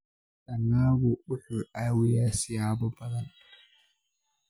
Dalaggu wuxuu caawiyaa siyaabo badan.